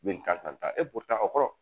Min kan ka o kɔrɔ